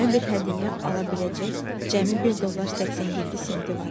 Cimə bir hədiyyə ala biləcək cəmi 1 dollar 87 centi var idi.